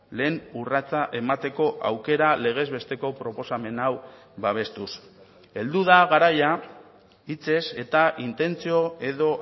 lehen urratsa emateko aukera legez besteko proposamen hau babestuz heldu da garaia hitzez eta intentzio edo